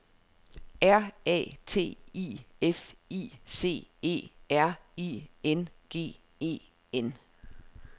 R A T I F I C E R I N G E N